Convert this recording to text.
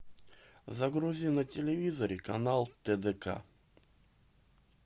загрузи на телевизоре канал тдк